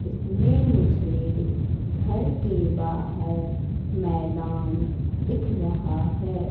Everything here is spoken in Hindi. इसमें मुझे घर के बाहर मैदान दिख रहा है।